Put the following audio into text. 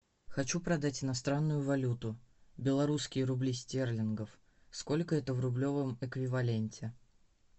хочу продать иностранную валюту белорусские рубли стерлингов сколько это в рублевом эквиваленте